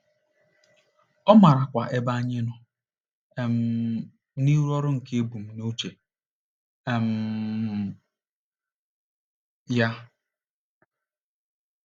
Ọ maarakwa ebe anyị nọ um n’ịrụ ọrụ nke ebumnuche um ya.